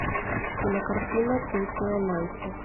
кинокартина токио найти